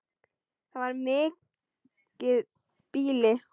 Það er mikið býli.